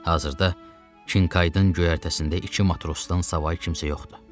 Hazırda Çinkaidın göyərtəsində iki matrosdan savayı heç kim yoxdur.